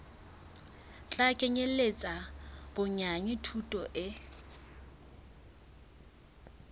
tla kenyeletsa bonyane thuto e